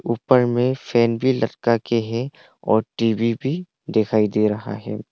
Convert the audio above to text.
ऊपर में फैन भी लटका के है और टी_वी भी दिखाई दे रहा है।